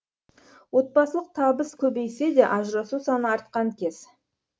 отбасылық табыс көбейсе де ажырасу саны артқан кез